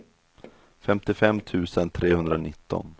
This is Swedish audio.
femtiofem tusen trehundranitton